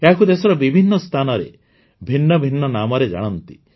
ଏହାକୁ ଦେଶର ବିଭିନ୍ନ ସ୍ଥାନରେ ଭିନ୍ନ ଭିନ୍ନ ନାମରେ ଜାଣନ୍ତି